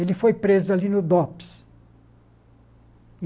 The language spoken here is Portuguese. Ele foi preso ali no Dops.